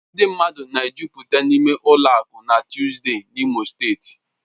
Ndị mmadụ na-ejụ́pụta n'ime ụlọ akụ na Tuzdee n'Imo steeti.